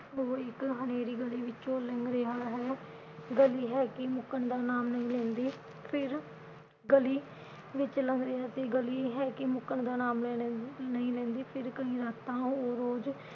ਉਹ ਇਕ ਹਨੇਰੀ ਗਲੀ ਵਿਚੋਂ ਲੰਘ ਰਿਹਾ ਹੈ। ਗਲੀ ਹੈ ਕਿ ਮੁਕਣ ਦਾ ਨਾਮ ਨਹੀਂ ਲੈਂਦੀ ਫਿਰ ਗਲੀ ਵਿਚ ਲੰਘ ਰਿਹਾ ਸੀ ਗਲੀ ਹੈ ਕਿ ਮੁਕਣ ਦਾ ਨਾਮ ਲੈਂਦੀ। ਫਿਰ ਕਈ ਰਾਤਾਂ ਉਹ ਰੋਜ਼